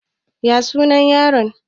Ya suna yaron?